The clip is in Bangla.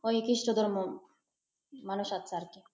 ওই খ্রিষ্ট ধর্ম মানুষ আসে আর কি।